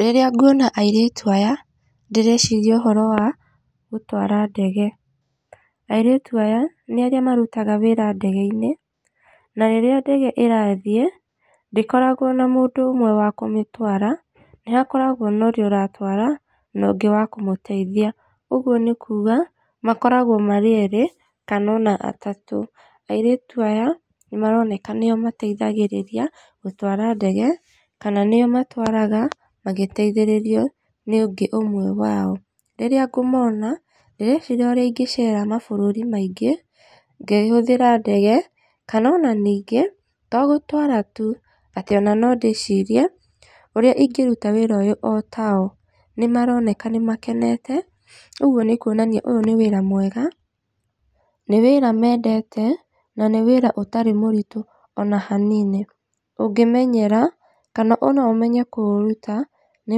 Rĩrĩa nguona airĩtu aya, ndĩreciria ũhoro wa gũtwara ndege. Airĩtu aya nĩ arĩa marutaga wĩra ndege-inĩ, na rĩrĩa ndege ĩrathiĩ ndĩkoragwo na mũndũ ũmwe wa kũmĩtwara, nĩ hakoragwo norĩa ũratwara nongĩ wa kũmũteithia, ũguo nĩ kuuga makoragwo marĩ erĩ kana ona atatũ. Airĩtu aya nĩ maroneka nĩo mateithagĩrĩria gũtwara ndege, kana nĩo matwaraga magĩteithĩrĩrio nĩ ũngĩ ũmwe wao. Rĩrĩa ngũmona, ndĩreciria ũrĩa ingĩcera mabũrũri maingĩ ngĩhũthĩra ndege, kana ona ningĩ to gũtwara tu, atĩ ona nondĩcirie ũrĩa ingĩruta wĩra ũyũ ota o. Nĩmaroneka nĩmakenete ũguo nĩ kuonania ũyũ nĩ wĩra mwega, nĩ wĩra mendete na nĩ wĩra ũtarĩ mũritũ ona hanini. Ũngĩmenyera, kana ona ũmenye kũũruta nĩ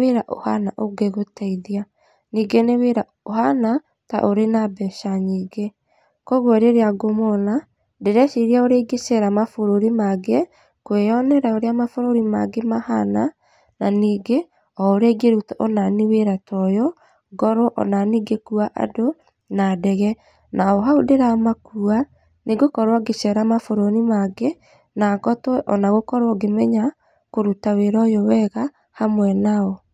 wĩra ũhana ũngĩgũteithia, ningĩ nĩ wĩra ũhana ta ũrĩ na mbeca nyingĩ. Koguo rĩrĩa ngũmona ndĩreciria ũrĩa ingĩceera mabũrũri mangĩ kwĩyonera ũrĩa mabũrũri mangĩ mahana, na ningĩ o ũrĩa ingĩruta onaniĩ wĩra ta ũyũ, ngorwo onaniĩ ngĩkua andũ na ndege. Na o hau ndĩramakua nĩngũkorwo ngĩcera mabũrũri mangĩ, na ngotwo ona gũkorwo ngĩmenya kũruta wĩra ũyũ wega hamwe nao.